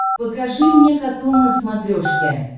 покажи мне катун на смотрешке